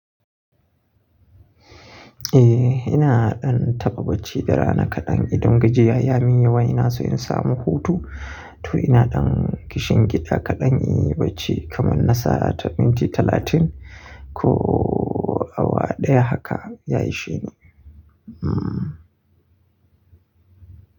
Eh, ina ɗan taɓa bacci da rana kaɗan. Idan gajiyan ya min yawa, ina so in samu hutu. To ina ɗan kishin gida kaɗan, Inyi bacci kaman na sa'a ta minti talatin ko awa ɗaya haka, ya ishine. Hmm.